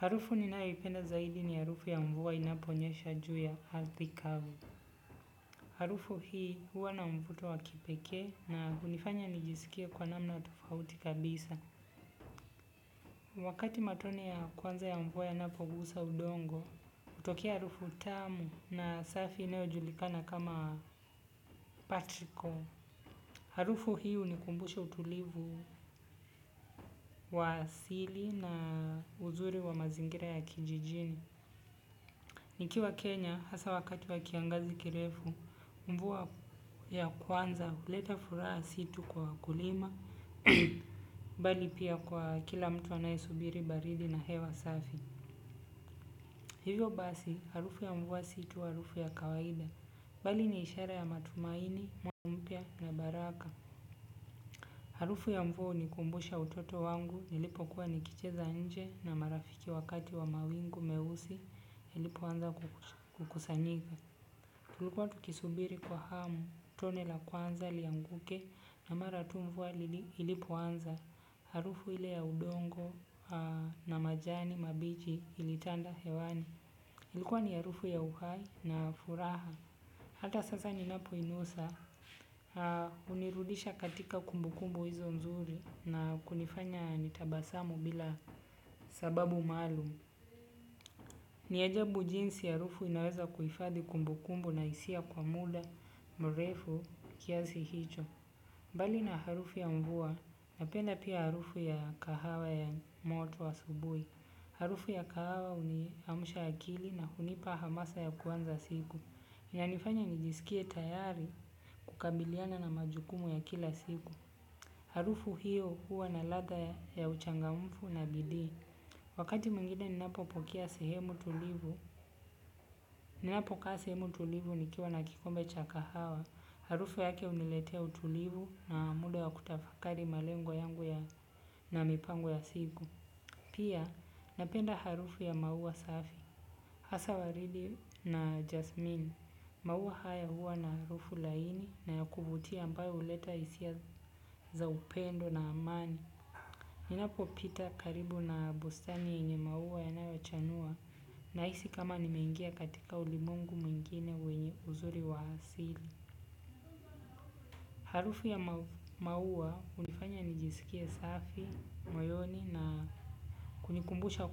Harufu ninayoipenda zaidi ni harufu ya mvua inaponyesha juu ya arthi kavu. Harufu hii huwa na mvuto wakipekee na hunifanya nijisikie kwa namna tofauti kabisa. Wakati matone ya kwanza ya mvua yanapogusa udongo, hutokea harufu tamu na safi inayojulikana kama petrichor. Harufu hii hunikumbusha utulivu wa asili na uzuri wa mazingira ya kijijini. Nikiwa Kenya, hasa wakati wa kiangazi kirefu, mvua ya kwanza huleta furaha si tu kwa wakulima, bali pia kwa kila mtu anayesubiri baridi na hewa safi. Hivyo basi, harufu ya mvua si tu, harufu ya kawaida, bali ni ishara ya matumaini, mwaka mpia na baraka. Harufu ya mvua hunikumbusha utoto wangu, nilipo kuwa nikicheza nje na marafiki wakati wa mawingu meusi, ilipoanza kukusanyika. Tulikuwa tukisubiri kwa hamu, tone la kwanza lianguke na mara tu mvua ilipoanza, harufu ile ya udongo na majani mabiji ilitanda hewani. Ilikuwa ni harufu ya uhai na furaha. Hata sasa ninapo inusa, hunirudisha katika kumbukumbu hizo nzuri na kunifanya nitabasamu bila sababu maalum. Ni ajabu jinsi harufu inaweza kuhifadhi kumbu kumbu na hisia kwa mudu mrefu kiasi hicho. Mbali na harufu ya mvua, napenda pia harufu ya kahawa ya moto asubuhi. Harufu ya kahawa huni amsha akili na hunipa hamasa ya kuanza siku. Inanifanya nijisikie tayari kukabiliana na majukumu ya kila siku. Harufu hio huwa na ladha ya uchangamfu na bidii wakati mwingine ninapokaa sehemu tulivu nikiwa na kikombe cha kahawa harufu yake huniletea utulivu na muda wa katafakari malengo yangu na mipango ya siku. Pia, napenda harufu ya maua safi, hasa waridi na jasmini, maua haya huwa na harufu laini na ya kuvutia ambayo huleta hisia za upendo na amani. Ninapo pita karibu na bustani yenye maua yanayo chanua na hisi kama nimengia katika ulimwengu mwingine wenye uzuri wa asili. Harufu ya maua hunifanya nijisikie safi moyoni na kunikumbusha